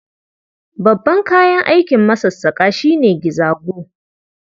Babban kayan aikin masassaƙa shi ne gizago.